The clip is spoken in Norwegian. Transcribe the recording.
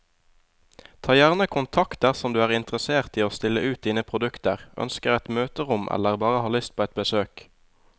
Ta gjerne kontakt dersom du er interessert i å stille ut dine produkter, ønsker et møterom eller bare har lyst på et besøk.